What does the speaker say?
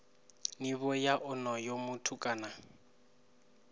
nivho ya onoyo muthu kana